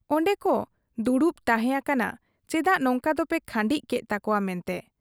ᱚᱱᱰᱮᱱᱠᱚ ᱫᱩᱲᱩᱵ ᱛᱟᱦᱮᱸ ᱟᱠᱟᱱᱟ ᱪᱮᱫᱟᱜ ᱱᱚᱝᱠᱟ ᱫᱚᱯᱮ ᱠᱷᱟᱺᱰᱤᱡ ᱠᱮᱫ ᱛᱟᱠᱚᱣᱟ ᱢᱮᱱᱛᱮ ᱾